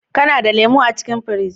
Kana da lemu a cikin firiji?